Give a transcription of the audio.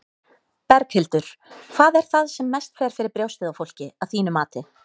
Berghildur: Hvað er það sem mest fer fyrir brjóstið á fólki, að þínu mati?